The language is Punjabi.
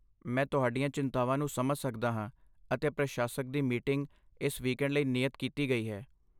ਮੈਂ ਤੁਹਾਡੀਆਂ ਚਿੰਤਾਵਾਂ ਨੂੰ ਸਮਝ ਸਕਦਾ ਹਾਂ ਅਤੇ ਪ੍ਰਸ਼ਾਸਕ ਦੀ ਮੀਟਿੰਗ ਇਸ ਵੀਕੈਂਡ ਲਈ ਨਿਯਤ ਕੀਤੀ ਗਈ ਹੈ।